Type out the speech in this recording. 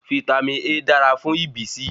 Vítámì A dára fún ìbísí